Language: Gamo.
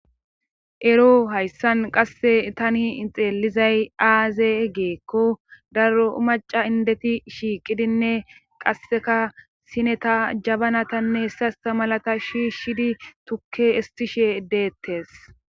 Ero hayssan qasse tani ixeelizay aaze geekko daro maca indeti shiiqidinne qasseka sine ta jabanatanne hessasta malata shiishshidi tukke istishe deettes.